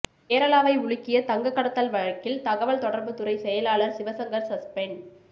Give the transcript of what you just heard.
கேரளாவை உலுக்கிய தங்கக் கடத்தல் வழக்கில் தகவல் தொடர்பு துறை செயலாளர் சிவசங்கர் சஸ்பெண்ட்